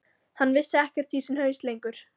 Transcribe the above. Hann vissi ekkert í sinn haus lengur.